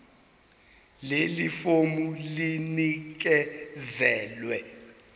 leli fomu linikezelwe